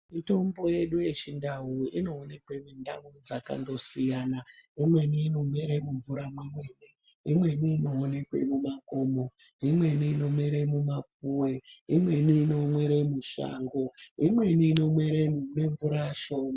Mitombo yedu yechindau inoonekwa mundau dzakandosiyana imweni inomwiwa mumvura imweni inowanikwa mumakomob imweni inomera kumapuwe imweni inomera mushango imweni inomera mune mvura shoma.